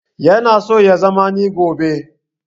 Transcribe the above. Ya na so ya zana ni gobe